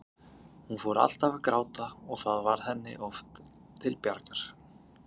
Hún fór alltaf að gráta og það varð henni oft til bjargar.